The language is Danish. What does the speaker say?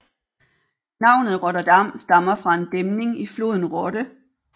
Navnet Rotterdam stammer fra en dæmning i floden Rotte